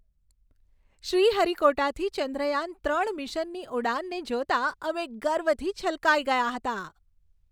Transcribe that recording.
શ્રીહરિકોટાથી ચંદ્રયાન ત્રણ મિશનની ઉડાનને જોતાં અમે ગર્વથી છલકાઈ ગયા હતા.